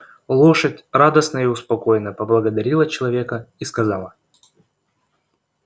лошадь радостная и успокоенная поблагодарила человека и сказала